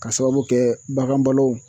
Ka sababu kɛ bagan balo.